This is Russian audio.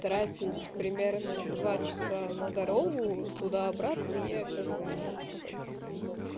тратить примерно два часа на дорогу туда обратно я как бы не очень хочу